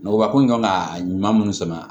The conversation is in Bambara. Nɔgɔba ko in kan ka ɲuman munnu sama